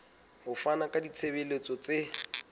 ho fana ka ditshebeletso tse